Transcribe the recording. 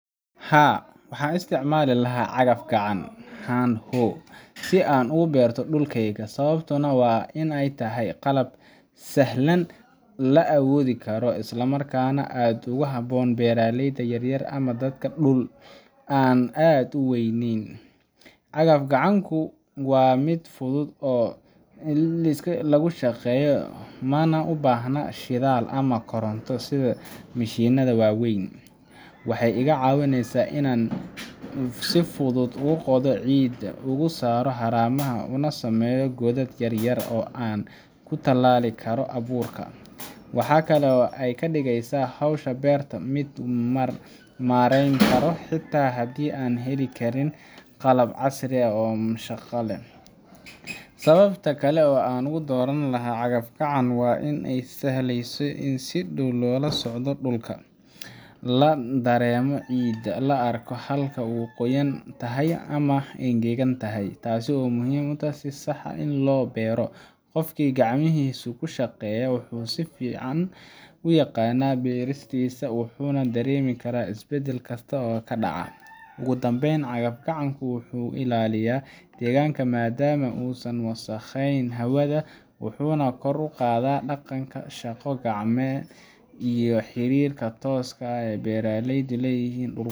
Haa, waxaan isticmaali lahaa cagaf-gacan hand hoe si aan u beerto dhulkayga, sababtuna waa in ay tahay qalab sahlan, la awoodi karo, isla markaana aad ugu habboon beeraleyda yaryar ama dadka leh dhul aan aad u weynayn. Cagaf-gacanku waa mid fudud in lagu shaqeeyo, mana u baahna shidaal ama koronto sida mishiinada waaweyn. Waxay iga caawinaysaa in aan si fudud u qodo ciidda, uga saaro haramaha, una sameeyo godad yar yar oo aan ku tallaali karo abuurka. Waxaa kale oo ay ka dhigeysaa hawsha beerta mid la maareyn karo xitaa haddii aan heli karin qalab casri ah ama shaqaale badan. Sababta kale oo aan u dooran lahaa cagaf-gacan waa inay sahlayso in si dhow loola socdo dhulka, la dareemo ciidda, la arko halka ay qoyan tahay ama engegan tahay, taas oo muhiim u ah in si sax ah loo beero. Qofkii gacmihiisa ku shaqeeya wuxuu si fiican u yaqaanaa beertiisa, wuxuuna dareemi karaa isbedel kasta oo ka dhaca. Ugu dambeyn, cagaf-gacanku wuxuu ilaaliyaa deegaanka maadaama uusan wasakhayn hawada, wuxuuna kor u qaadaa dhaqanka shaqo gacneedka iyo xiriirka tooska ah ee beeraleydu la leeyihiin dhulkooda.